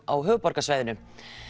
á höfuðborgarsvæðinu